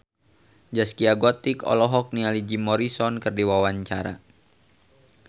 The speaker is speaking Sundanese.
Zaskia Gotik olohok ningali Jim Morrison keur diwawancara